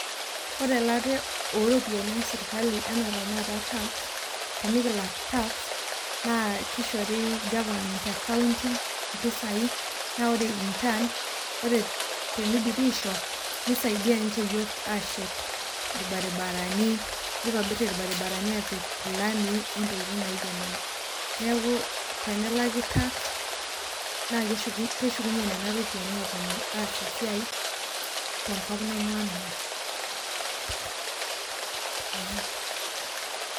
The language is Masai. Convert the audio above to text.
Ore elaare ooropiyiani esirkali anaa taata entax tenikilak tax naa keishori government ekaunti mpisai, naa ore return, ore teneidipi aisho, neisaidiya ninche yook aachet irbaribarani, neitobirr irbaribarani aapik lamii ontokitin naijo nena. Neaku tenelaki tax naa keshukunye nena iropiyiani aaponu aas esiai tenkop ainguaa nanu, ee.